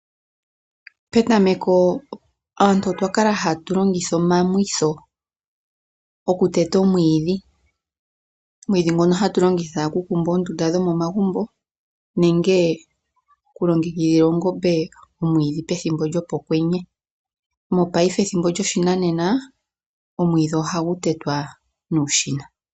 Petameko aantu otwa kala hatu longitha omamwitho okuteta omwiidhi. Omwiidhi ngono hatu longitha okukumba oondunda dhomomagumbo nenge okulongekidhila oongombe omwiidhi gopethimbo lyokwenye. Mopaife ethimbo lyoshinanena omwiidhi ohagu tetwa nuushina.